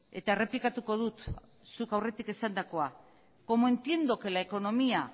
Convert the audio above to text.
eta errepikatuko dut zuk aurretik esandakoa como entiendo que la economía